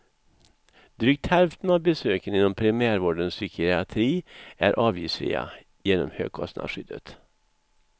Drygt hälften av besöken inom primärvårdens psykiatri är avgiftsfria genom högkostnadsskyddet.